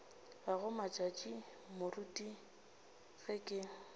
gago matšatši moruti ge ke